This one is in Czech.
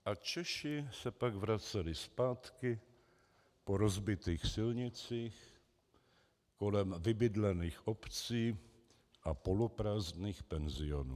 A Češi se pak vraceli zpátky po rozbitých silnicích kolem vybydlených obcí a poloprázdných penzionů.